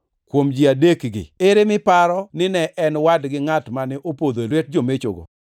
“Kuom ji adekgi ere miparo ni ne en wadgi ngʼat mane opodho e lwet jomechogo?”